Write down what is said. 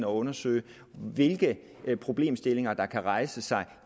undersøge hvilke problemstillinger der kan rejse sig